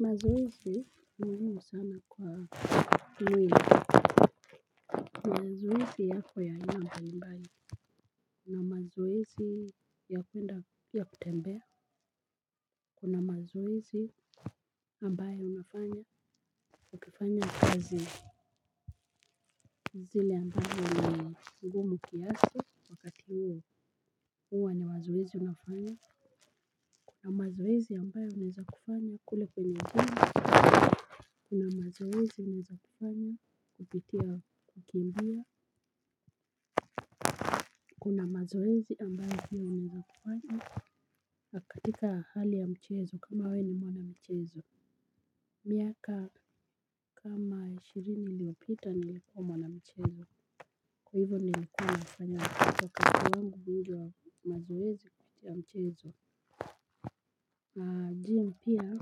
Mazoezi ni muimu sana kwa uwe, mazoezi yako ya nyamba nimbaye. Kuna mazoezi ya upenda ya kutembea, kuna mazoezi ambaye unafanya, ukifanya kazi zile ambayo ni ngumu kiasi, wakati u wa ni wazoezi unafanya. Na mazoezi ambaye uneza kufanya, kule peneza. Kuna mazoezi ni za kufanya kupitia kukimbia. Kuna mazoezi ambayo hiyo ni za kufanya katika hali ya mchezo kama we ni mwanamchezo. Miaka kama ishirini liopita nilikuwa mwanamchezo. Kwa hivyo nilikuwa nafanya kwa kata wangu mbili wa mazoezi ya mchezo Ajiya mpia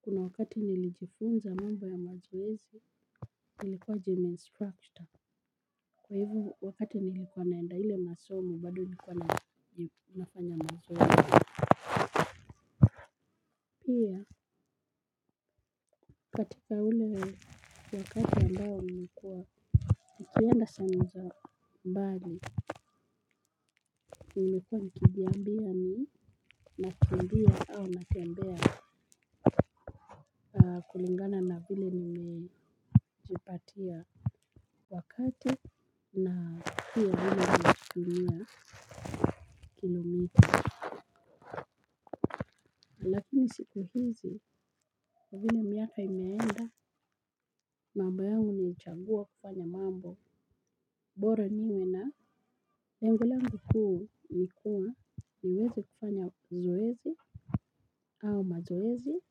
kuna wakati nilijifunza mambo ya mazoezi nilikuwa jim instructure. Kwa hivo wakati nilikuwa naenda hile masomo bado nilikuwa na mafanya mazoezi. Pia katika hile wakati ambao nikuwa nikienda sehemua za mbali. Nikuwa nikibiambia ni nakimbia au natembea. Kulingana na hile nilijipatia. Wakati na hile nilikuwa kilomiti. Lakini siku hizi ya zine miaka imeenda mambayangu ni uchambua kupanya mambo boro niwe na lengo langu huu nikua niweze kufanya zoezi au mazoezi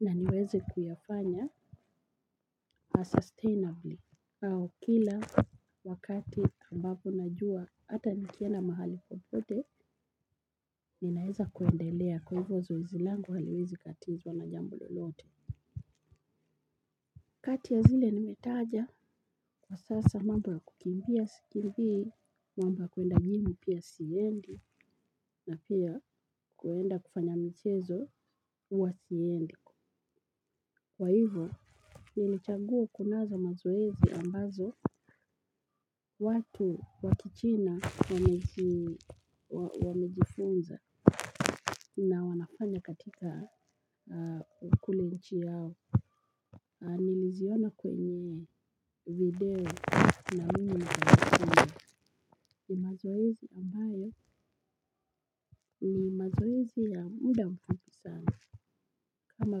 na niweze kuyafanya asustainably. Au kila wakati ambapo najua hata nikienda mahali popote ninaeza kuendelea kwa hivyo zoezi langu haliwezi katizwa na jambo lolote. Kati ya zile nimetaja kwa sasa mambo kukimbia sikimbiii mambo kuenda jimu pia siendi na pia kuenda kufanya mchezo uwa siendi. Kwa hivo nilichanguu kunaza mazoezi ambazo watu wakichina wamejifunza na wanafanya katika kule uchi yao. Niliziona kwenye video na unu na gana ni mazoezi ambaye ni mazoezi ya muda mfupi sana kama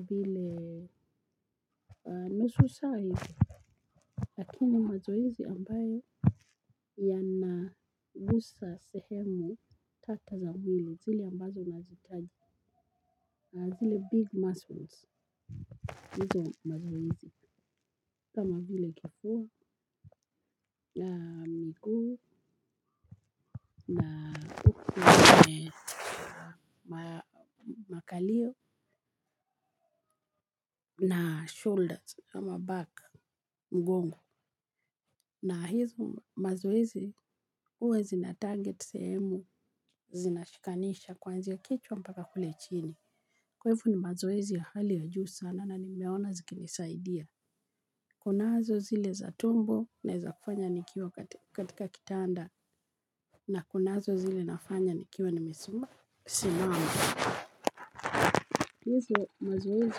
vile nusu saa hizi lakini mazoezi ambayo ya na ngusa sehemu tata za milo zili ambazo nazitaji na zile big muscles nizo mazoezi kama vile tukua na mguu na me makalio na shoulders ama back mgongo. Na hizu mazoezi huwa zi na target semu zinashikanisha kwanzia kichwa mpaka kule chini. Kwaifu ni mazoezi ya hali ya juu sana na nimeona zikinisaidia. Kunazo zile za tumbo na za kufanya nikiwa katika kitanda na kunazo zile nafanya nikiwa nimesuma. Sinama. Hizu mazoezi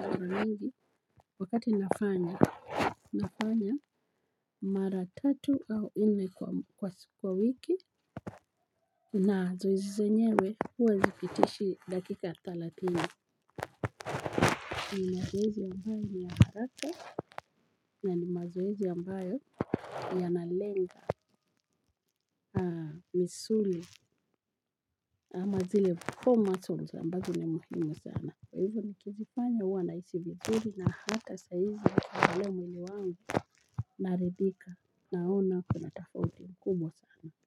alurendi wakati nafanya nafanya mara tatu au ini kwa wiki. Na zoezi zenyewe huwa zipitishi dakika thelathini. Ni mazoezi ambayo ni ya haraka na ni mazoezi ambayo yanalenga. Misuli ama zile formats wa mbago ni mmo sana. Hivyo ni kififanya huwa na isi mburi na hata saizi ya haremu ni wangu. Naridhika naona kuna tafauti mkubwa sana. Kwa hivyo.